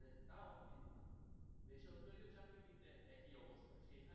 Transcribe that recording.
তা ও কিন্তু না বেসরকারি চাকরি কিন্তু একই অবস্থা